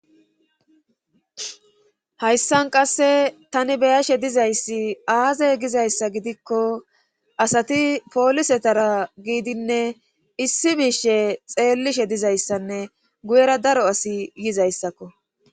Hayssan qasse tani beyashe dizayssi aazay gizayssa gidikko asati poolisetara giidinne issi miishe xeellishe dizayssanne guyera daro asi yizayssakko.